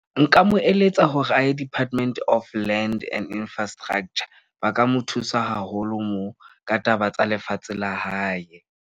Nka mo eletsa hore a ye Department of Land and Infrastructure. Ba ka mo thusa haholo moo ka taba tsa lefatshe la hae.